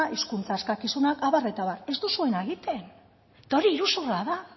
hizkuntza eskakizunak abar eta abar ez duzuena egiten eta hori iruzurra da